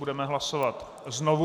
Budeme hlasovat znovu.